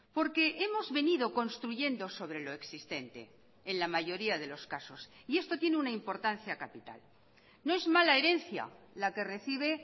porque hemos venido construyendo sobre lo existente en la mayoría de los casos y esto tiene una importancia capital no es mala herencia la que recibe